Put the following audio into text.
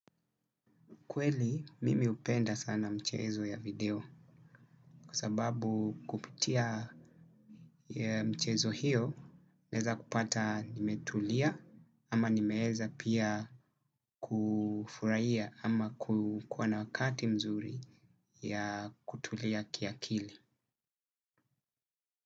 Kweli mimi hupenda sana mchezo ya video kwa sababu kupitia mchezo hiyo naeza kupata nimetulia ama nimeeza pia kufurahia ama kukuwa na wakati mzuri ya kutulia kiakili.